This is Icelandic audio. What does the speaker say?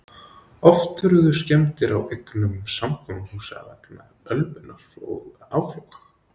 Oft urðu skemmdir á eignum samkomuhúsa vegna ölvunar og áfloga.